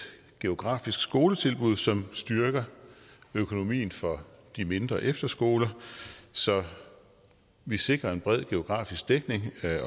geografisk skoletilbud som styrker økonomien for de mindre efterskoler så vi sikrer en bred geografisk dækning